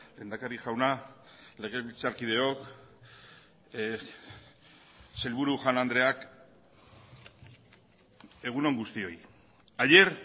lehendakari jauna legebiltzarkideok sailburu jaun andreak egun on guztioi ayer